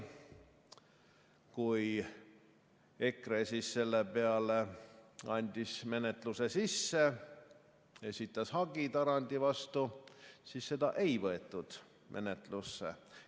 Kui EKRE siis selle peale andis menetluse sisse, esitas hagi Tarandi vastu, siis seda ei võetud menetlusse.